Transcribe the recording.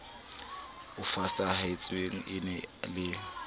e fosahetseng e na le